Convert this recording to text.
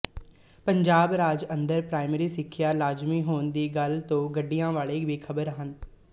ਪੰਜਾਬ ਰਾਜ ਅੰਦਰ ਪ੍ਰਾਇਮਰੀ ਸਿੱਖਿਆ ਲਾਜ਼ਮੀ ਹੋਣ ਦੀ ਗੱਲ ਤੋਂ ਗੱਡੀਆਂ ਵਾਲੇ ਬੇਖਬਰ ਹਨ